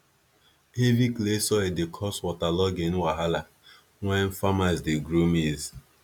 heavy clay soil dey cause waterlogging wahala when farmers dey grow maize